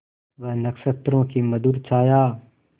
वह नक्षत्रों की मधुर छाया